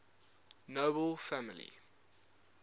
nobel family